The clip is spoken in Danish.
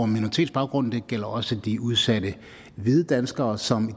minoritetsbaggrund det gælder også de udsatte hvide danskere som